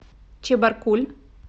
чебаркуль